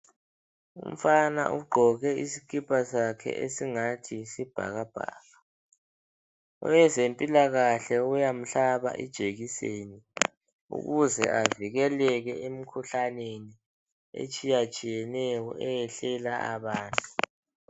Umfana ugqoke isikipa sakhe esingathi yisibhakabhaka. Owezempilakahle uyamhlaba ijekiseni ukuze avikeleke emkhuhlaneni etshiyatshiyeneyo eyehlela abantu.